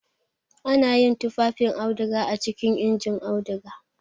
Ana yin tufafin auduga a cikin injin auduga.